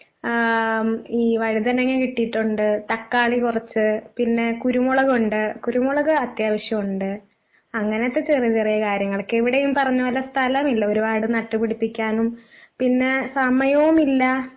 ആഹ് ഈ വഴുതനങ്ങ കിട്ടീട്ടുണ്ട്, തക്കാളി കൊറച്ച് പിന്നെ കുരുമുളകുണ്ട്, കുരുമുളക് അത്യാവശ്യം ഉണ്ട്. അങ്ങനത്തെ ചെറിയ ചെറിയ കാര്യങ്ങളൊക്കെ ഇവിടെ ഈ പറഞ്ഞപോലെ സ്ഥലമില്ല ഒരുപാട് നട്ടുപിടിപ്പിക്കാനും പിന്നെ സമയവും ഇല്ല.